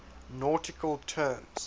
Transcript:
nautical terms